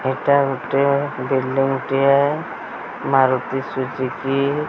ଏଟା ଗୋଟେ ବିଲଡିଂ ଟିଏ ମାରୁତି ସୁଜୁକି ।